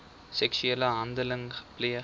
seksuele handeling gepleeg